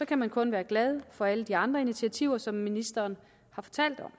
kan man kun være glad for alle de andre initiativer som ministeren har fortalt om